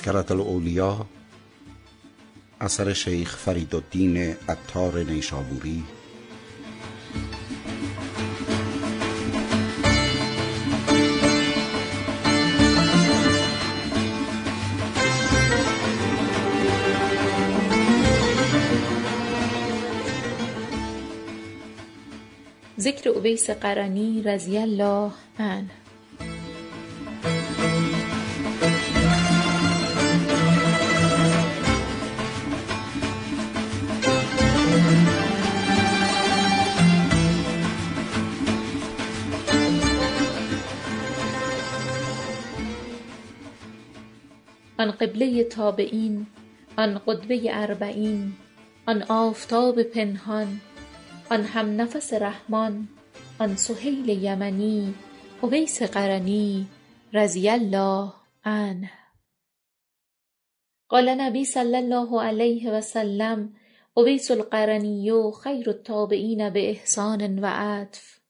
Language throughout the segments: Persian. آن قبلۀ تابعین آن قدوۀ اربعین آن آفتاب پنهان آن هم نفس رحمان آن سهیل یمنی اویس قرنی رضی الله عنه قال النبی صلی الله علیه و سلم اویس القرنی خیرالتابعین بإحسان و عطف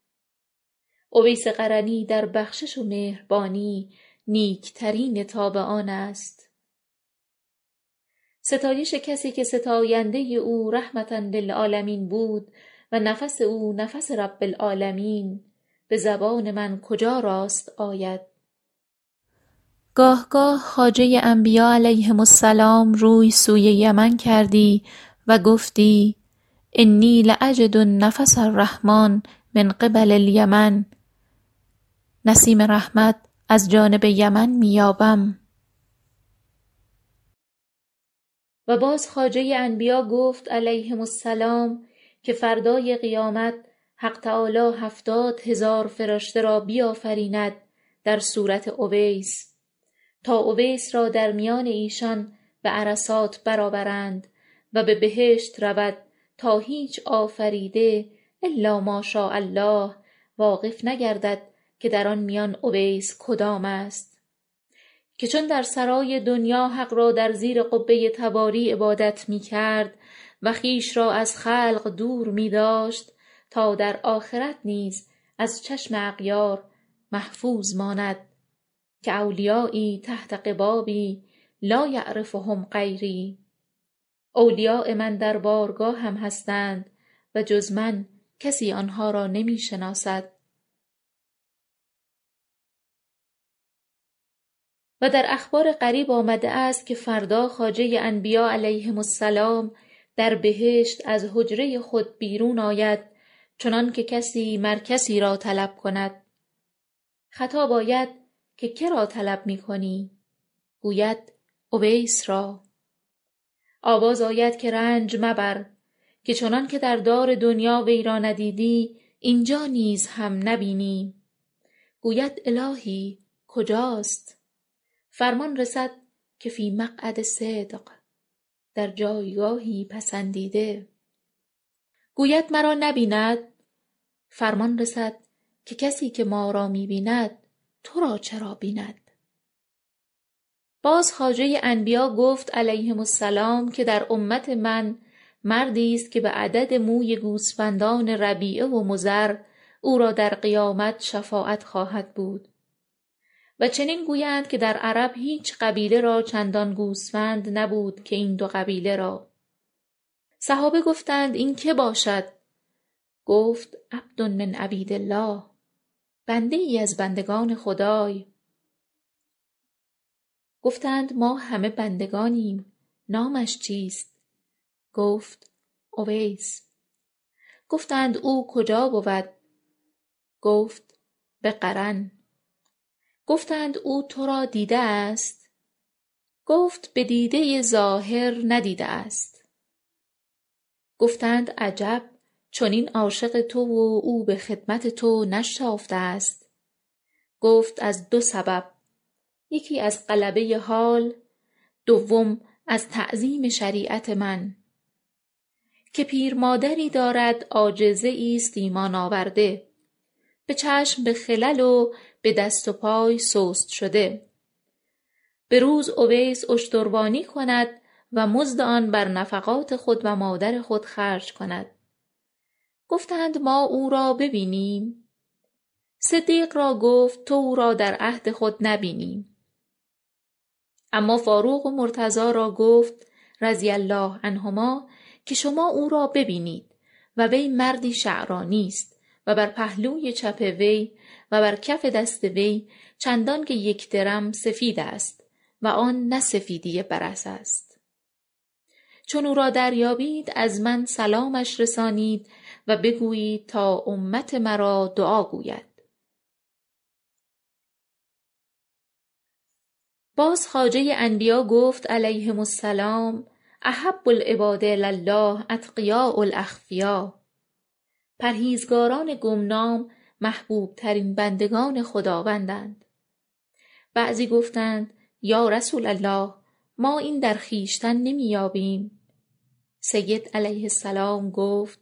اویس قرنی در بخشش و مهربانی نیکترین تابعان است ستایش کسی که ستاینده او رحمه للعالمین بود و نفس او نفس رب العالمین بود به زبان من کجا راست آید گاه گاه خواجه انبیا علیهم السلام روی سوی یمن کردی و گفتی إنی لأجد نفس الرحمن من قبل الیمن یعنی نسیم رحمت از جانب یمن می یابم و باز خواجه انبیا گفت علیهم السلام که فردای قیامت حق تعالی هفتاد هزار فرشته بیافریند در صورت اویس تا اویس را در میان ایشان به عرصات برآورند و به بهشت رود تا هیچ آفریده الا ماشاء الله واقف نگردد که در آن میان اویس کدام است که چون در سرای دنیا حق را در زیر قبۀ تواری عبادت می کرد و خویش را از خلق دور می داشت تا در آخرت نیز از چشم اغیار محفوظ ماند که أولیایی تحت قبابی لایعرفهم غیری اولیای من در بارگاهم هستند و جز من کسی آنها را نمی شناسد و در اخبار غریب آمده است که فردا خواجۀ انبیا علیهم السلام در بهشت از حجرۀ خود بیرون آید چنانکه کسی مر کسی را طلب کند خطاب آید که که را طلب می کنی گوید اویس را آواز آید که رنج مبر که چنانکه در دار دنیا وی را ندیدی اینجا نیز هم نبینی گوید الهی کجاست فرمان رسد که فی مقعد صدق در جایگاهی پسندیده / قمر55 گوید مرا نبیند فرمان رسد که کسی که ما را می بیند تو را چرا بیند باز خواجۀ انبیا گفت علیهم السلام که در امت من مردی است که به عدد موی گوسفندان ربیعه و مضر او را در قیامت شفاعت خواهد بود و چنین گویند که در عرب هیچ قبیله را چندان گوسفند نبود که این دو قبیله را صحابه گفتند این که باشد گفت عبد من عبید الله بنده ای از بندگان خدای گفتند ما همه بندگانیم نامش چیست گفت اویس گفتند او کجا بود گفت به قرن گفتند او تو را دیده است گفت به دیده ظاهر ندیده است گفتند عجب چنین عاشق تو و او به خدمت تو نشتافته است گفت از دو سبب یکی از غلبه حال دوم از تعظیم شریعت من که پیرمادری دارد عاجزه ای است ایمان آورده به چشم به خلل و دست و پای سست شده به روز اویس اشتروانی کند و مزد آن بر نفقات خود و مادر خود خرج کند گفتند ما او را ببینیم صدیق را گفت تو او را در عهد خود نبینی اما فاروق و مرتضی را گفت رضی الله عنهما که شما او را ببینید و وی مردی شعرانی است و بر پهلوی چپ وی و برکف دست وی چندانکه یک درم سفید است و آن نه سفیدی برص است چون او را دریابید از من سلامش رسانید و بگویید تا امت مرا دعا گوید باز خواجه انبیا گفت علیهم السلام احب العباد الی الله الأتقیاء الأخفیاء پرهیزکاران گمنام محبوبترین بندگان خداوندند بعضی گفتند یا رسول الله ما این در خویشتن می یابیم سید علیه السلام گفت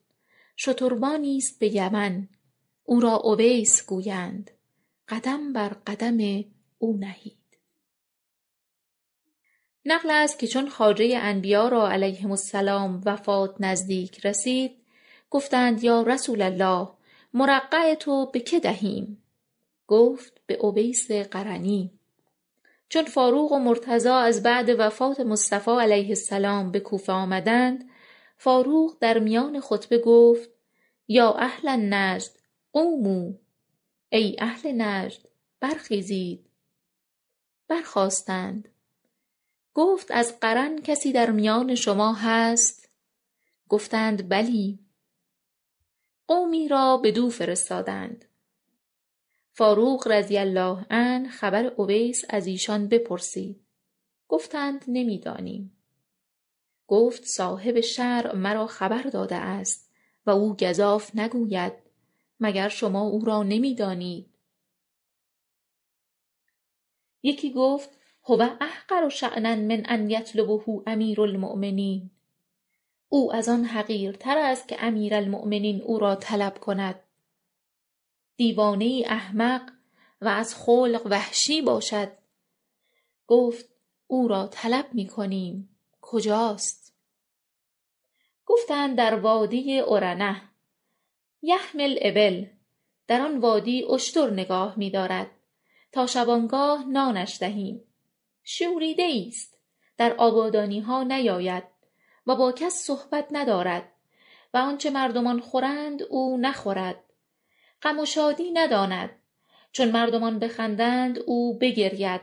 شتروانی است به یمن او را اویس گویند قدم بر قدم او نهید نقل است که چون خواجۀ انبیا را علیهم السلام وفات نزدیک رسید گفتند یا رسول الله مرقع تو به که دهیم گفت به اویس قرنی چون فاروق و مرتضی از بعد وفات مصطفی علیه السلام به کوفه آمدند فاروق در میان خطبه گفت یا أهل نجد قوموا ای اهل نجد برخیزید برخاستند گفت از قرن کسی در میان شما هست گفتند بلی قومی را بدو فرستادند فاروق رضی الله عنه خبر اویس ازیشان پرسید گفتند نمی دانیم گفت صاحب شرع مرا خبر داده است و او گزاف نگوید مگر شما او را نمی دانید یکی گفت هو احقر شأنا من أن یطلبه امیرالمومنین او از آن حقیرتر است که امیرالمومنین او را طلب کند دیوانه ای احمق و از خلق وحشی باشد گفت او را طلب می کنیم کجاست گفتند در وادی عرنة یحمی الإبل در آن وادی اشتر نگاه می دارد تا شبانگاه نانش دهیم شوریده ای است در آبادانیها نیاید و با کسی صحبت ندارد و آنچه مردمان خورند او نخورد غم و شادی نداند چون مردمان بخندند او بگرید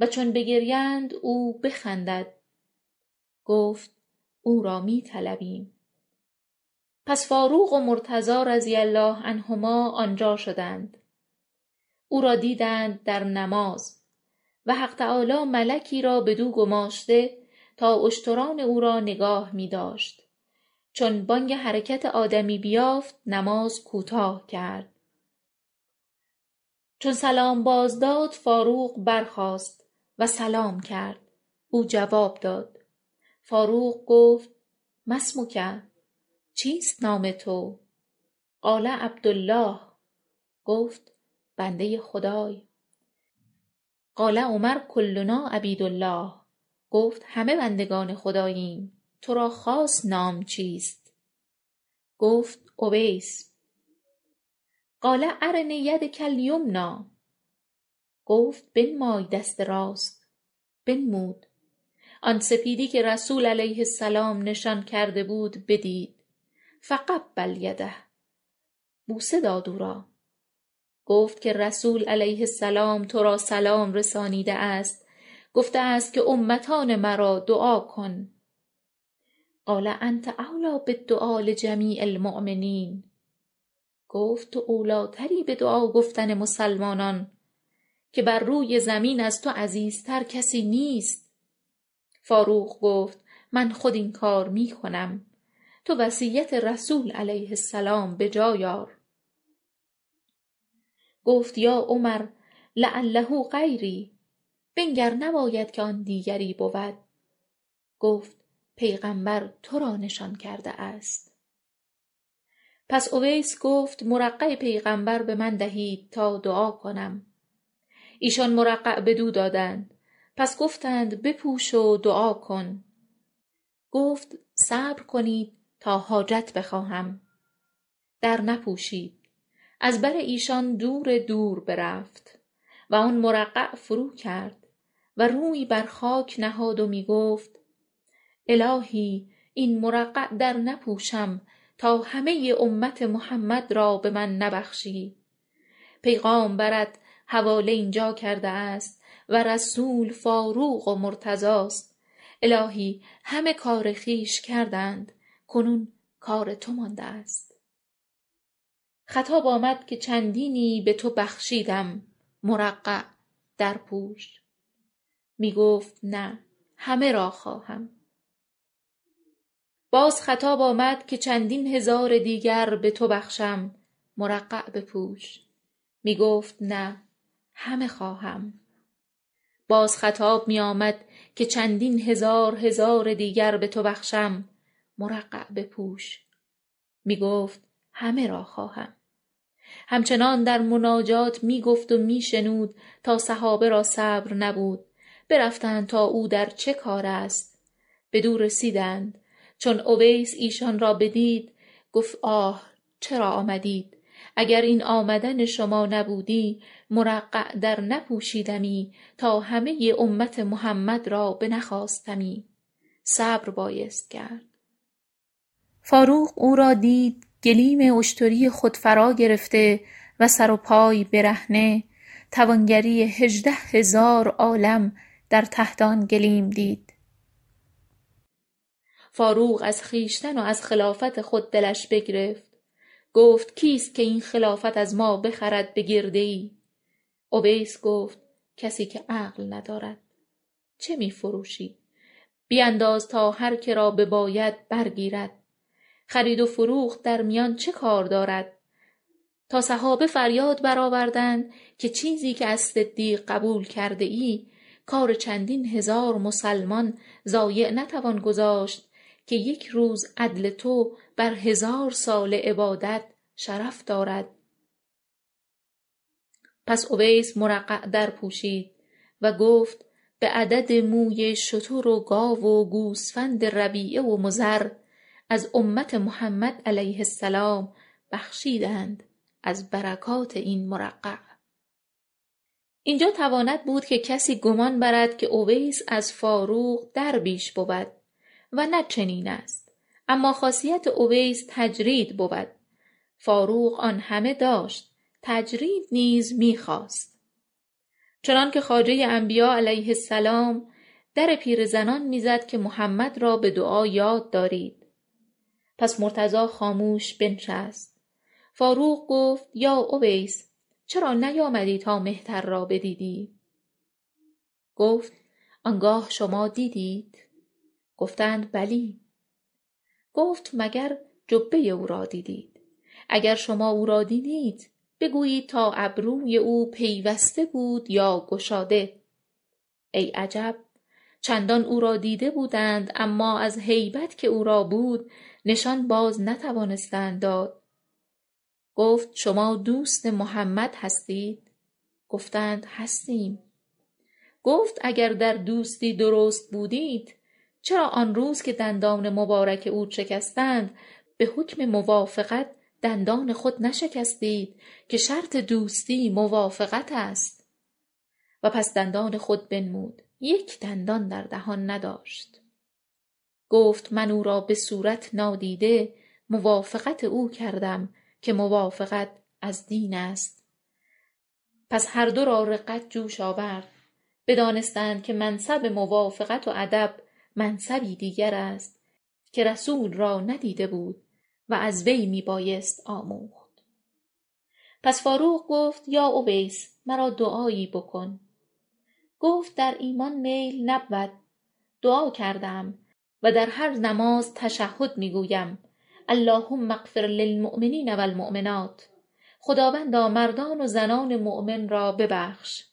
و چون بگریند او بخندد گفت او را می طلبیم پس فاروق و مرتضی رضی الله عنهما آنجا شدند او را بدیدند در نماز و حق تعالی ملکی را بدو گماشته تا اشتران او را نگاه می داشت چون بانگ حرکت آدمی بیافت نماز کوتاه کرد چون سلام باز داد فاروق برخاست و سلام کرد او جواب داد فاروق گفت مااسمک چیست نام تو قال عبدالله گفت بندۀ خدای قال عمر کلنا عبید الله گفت همه بندگان خداییم تو را خاص نام چیست گفت اویس قال ارنی یدک الیمنی گفت بنمای دست راست بنمود آن سپیدی که رسول علیه السلام نشان کرده بود بدید فقبل یده بوسه داد دست او را گفت که رسول علیه السلام تو را سلام رسانیده است گفته است که امتان مرا دعا کن قال أنت أولی بالدعاء لجمیع المؤمنین گفت تو اولی تری به دعا گفتن مسلمانان که بر روی زمین از تو عزیزتر کسی نیست فاروق گفت من خود این کار می کنم تو وصیت رسول علیه السلام به جای آور گفت یا عمر لعله غیری بنگر نباید که آن دیگری بود گفت پیغمبر تو را نشان کرده است پس اویس گفت مرقع پیغمبر به من دهید تا دعا کنم ایشان مرقع بدو دادند پس گفتند بپوش و دعا کن گفت صبر کنید تا حاجت بخواهم در نپوشید از بر ایشان دور دور برفت و آن مرقع فرو کرد و روی بر خاک نهاد و می گفت الهی این مرقع در نپوشم تا همه امت محمد را به من نبخشی پیغامبرت حواله اینجا کرده است و رسول فاروق و مرتضی است الهی همه کار خویش کردند کنون کار تو مانده است خطاب آمد که چندینی به تو بخشیدم مرقع درپوش می گفت نه همه را خواهم خطاب آمد که چندینی به تو بخشیدم مرقع درپوش می گفت نه همه را خواهم باز خطاب آمد که چندین هزار دیگر به تو بخشم مرقع بپوش می گفت نه همه خواهم باز خطاب می آمد که چندین هزار هزار دیگر به تو بخشم مرقع بپوش می گفت همه را خواهم همچنان در مناجات می گفت و می شنود تا صحابه را صبر نبود برفتند تا او را در چه کار است بدو رسیدند تا اویس ایشان را بدید گفت آه چرا آمدید اگر این آمدن شما نبودی مرقع در نپوشیدمی تا همه امت محمد را بنخواستمی صبر بایست کرد فاروق او را دید گلیمی اشتری خود فراگرفته و سر و پای برهنه توانگری هژده هزار عالم در تحت آن گلیم دید فاروق از خویشتن و از خلافت خود دلش بگرفت گفت کیست که این خلافت از ما بخرد به گرده ای اویس گفت کسی که عقل ندارد چه می فروشی بینداز تا هرکه را ببابد برگیرد خرید و فروخت در میان چه کار دارد تا صحابه فریاد برآوردند که چیزی که از صدیق قبول کرده ای کار چندین هزار مسلمان ضایع نتوان گذاشت که یک روز عدل تو بر هزار ساله عبادت شرف دارد پس اویس مرقع در پوشید و گفت به عدد موی شتر وگاو و گوسفند ربیعه و مضر از امت محمد علیه السلام بخشیدند از برکات این مرقع اینجا تواند بود که کسی گمان برد که اویس از فاروق در بیش بود و نه چنین است اما خاصیت اویس تجرید بود فاروق آن همه داشت تجرید نیز می خواست چنانکه خواجۀ انبیا علیه السلام در پیرزنان می زد که محمد را به دعا یاد دارید پس مرتضی خاموش بنشست فاروق گفت یا اویس چرا نیامدی تا مهتر را بدیدی گفت آنگاه شما دیدیت گفتند بلی گفت مگر جبۀ او را دیدید اگر شما او را دیدیت بگویید تا ابروی او پیوسته بود یا گشاده ای عجب چندان او را دیده بودند اما از هیبت که او را بود نشان بازنتوانستند داد گفت شما دوست محمد هستید گفتند هستیم گفت اگر در دوستی درست بودیت چرا آن روز که دندان مبارک او شکستند به حکم موافقت دندان خود نشکستید که شرط دوستی موافقت است پس دندان خود بنمود یک دندان در دهان نداشت گفت من او را به صورت نادیده موافقت کردم که موافقت از دین است پس هر دو را رقت جوش آورد بدانستند که منصب موافقت و ادب منصبی دیگر است که رسول را ندیده بود و از وی می بایست آموخت پس فاروق گفت یا اویس مرا دعایی بکن گفت در ایمان میل نبود دعا کرده ام و در هر نماز تشهد می گویم أللهم اغفرللمومنین و المؤمنات خداوندا مردان و زنان مؤمن را ببخش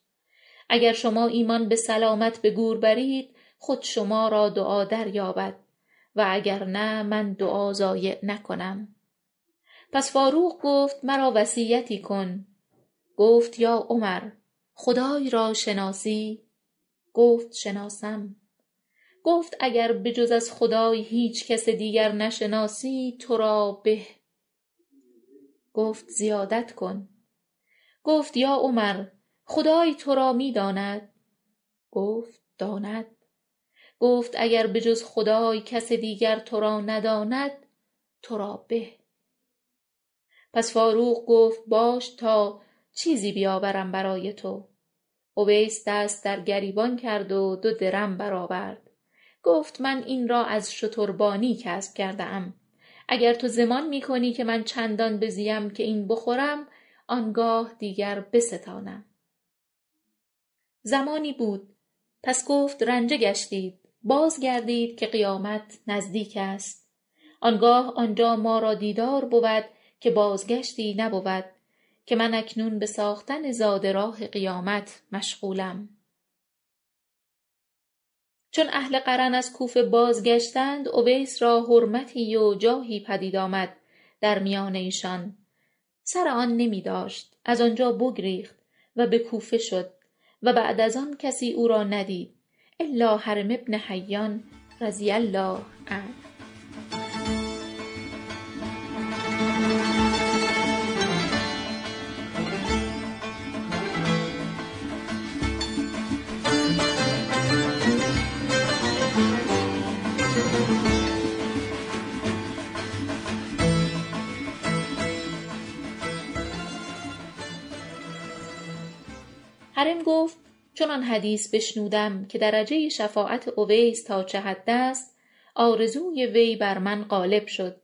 اگر شما ایمان به سلامت به گور برید خود شما را دعا دریابد و اگر نه من دعا ضایع نکنم پس فاروق گفت مرا وصیتی کن گفت یا عمر خدای را شناسی گفت شناسم گفت اگر به جز از خدای هیچ کس دیگر نشناسی تو را به گفت زیادت کن گفت یا عمر خدای تو را می داند گفت داند گفت اگر به جز خدای کس دیگر تو را نداند تو را به پس فاروق گفت باش تا چیزی بیاورم برای تو اویس دست در گریبان کرد و دو درم برآورد گفت من این را از اشتربانی کسب کرده ام اگر تو ضمان می کنی که من چندان بزیم که این بخورم آنگاه دیگر بستانم زمانی بود پس گفت رنجه گشتید بازگردید که قیامت نزدیک است آنگاه آنجا ما را دیدار بود که بازگشتی نبود که من اکنون به ساختن زاد راه قیامت مشغولم چون اهل قرن از کوفه بازگشتند اویس را حرمتی و جاهی پدید آمد در میان ایشان سر آن نمی داشت از آنجا بگریخت و به کوفه شد و بعد از آن کسی او را ندید الا هرم بن حیان رضی الله عنه هرم گفت چون آن حدیث بشنودم که درجۀ شفاعت اویس تا چه حد است آرزوی وی بر من غالب شد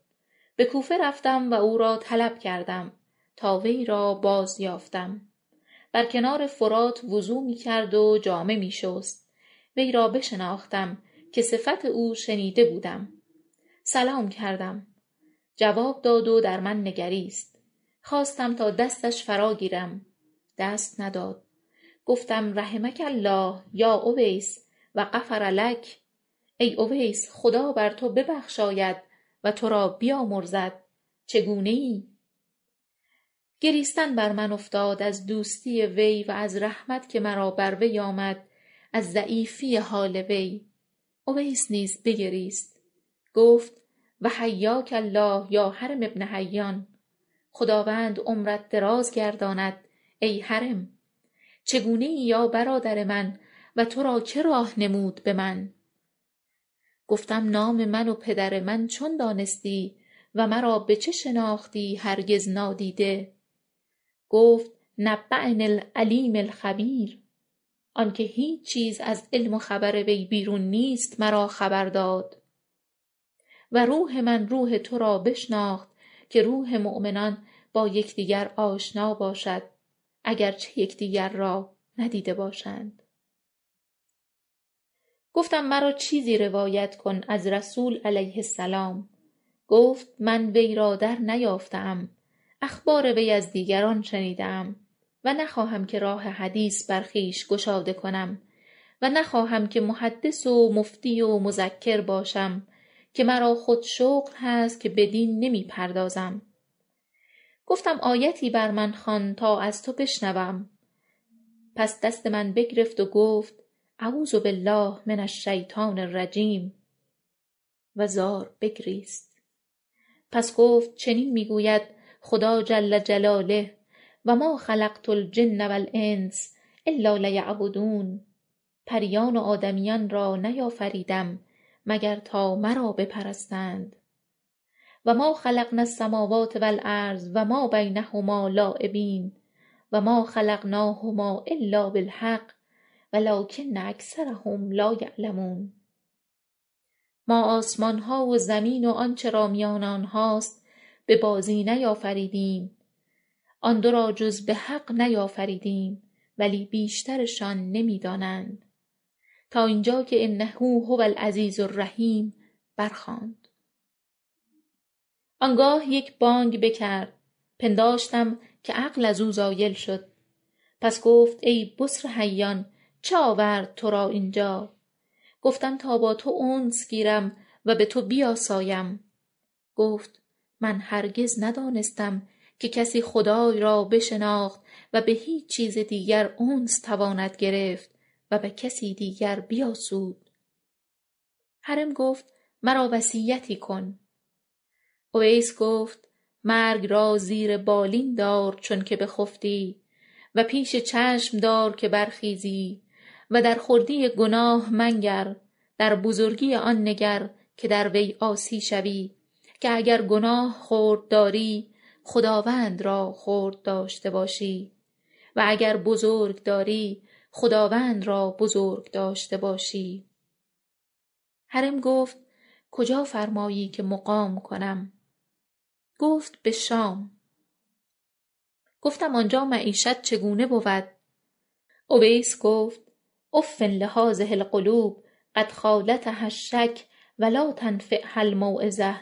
به کوفه رفتم و او را طلب کردم تا وی را بازیافتم برکنار فرات وضو می کرد و جامه می شست وی را بشناختم که صفت او شنیده بودم سلام کردم و جواب داد و در من نگریست خواستم تا دستش فراگیرم دست نداد گفتم رحمک الله یا اویس و غفرلک ای اویس خدا بر تو ببخشاید و تو را بیامرزد چگونه ای گریستن بر من افتاد از دوستی وی و از رحمت که مرا بر وی آمد از ضعیفی حال وی اویس نیز بگریست گفت و حیاک الله یا هرم بن حیان خداوند عمرت دراز گرداند ای هرم چگونه ای یا برادر من و تو را که راه نمود به من گفتم نام من و پدر من چون دانستی و مرا به چه شناختی هرگز نادیده گفت نبأنی العلیم الخبیر آنکه هیچ چیز از علم و خبر وی بیرون نیست مرا خبر داد و روح من روح تو را بشناخت که روح مومنان با یکدیگر آشنا باشد اگر چه یکدیگر را ندیده باشند گفتم مرا چیزی روایت کن از رسول علیه السلام گفت من وی را درنیافته ام اخبار وی از دیگران شنیده ام و نخواهم که راه حدیث بر خویش گشاده کنم و نخواهم که محدث و مفتی و مذکر باشم که مرا خود شغل هست که بدین نمی پردازم گفتم آیتی بر من خوان تا از تو بشنوم پس دست من بگرفت و گفت أعوذ بالله من الشیطان الرجیم و زار بگریست پس گفت چنین می گوید خدای جل جلاله و ما خلقت الجن و الإنس الا لیعبدون پریان و آدمیان را نیافریدم مگر تا مرا بپرستند / ذاریات 56 و ما خلقنا السموات و الأرض و ما بینهما لاعبین ما خلقناهما إلا بالحق ولکن أکثرهم لایعلمون ما آسمانها و زمین و آنچه را میان آنهاست به بازی نیافریدیم ولی بیشترشان نمی دانند تا اینجا که إنه هو العزیز الرحیم برخواند آنگاه یک بانگ بکرد پنداشتم که عقل ازو زایل شد پس گفت ای بسر حیان چه آورد ترا اینجا گفتم تا با توانس گیرم و به تو بیاسایم گفت من هرگز ندانستم که کسی خدای را بشناخت و به هیچ چیز دیگر انس تواند گرفت و به کسی دیگر بیاسود هرم گفت مرا وصیتی کن اویس گفت مرگ را زیر بالین دار چون که بخفتی و پیش چشم دار که برخیزی و در خردی گناه منگر در بزرگی آن نگر که در وی عاصی شوی که اگر گناه خرد داری خداوند را خرد داشته باشی و اگر بزرگ داری خداوند را بزرگ داشته باشی هرم گفت کجا فرمایی که مقام کنم گفت به شام گفتم آنجا معیشت چگونه بود اویس گفت أف لهذه القلوب قدخالطها الشک و لاتنفعها الموعظه